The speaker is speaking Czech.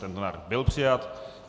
Tento návrh byl přijat.